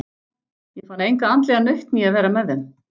Ég fann enga andlega nautn í að vera með þeim.